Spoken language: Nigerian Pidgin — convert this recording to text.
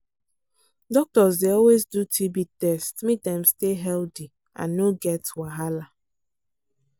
doctors dey always do tb test make dem stay healthy and no get wahala